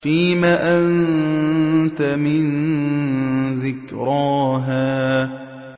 فِيمَ أَنتَ مِن ذِكْرَاهَا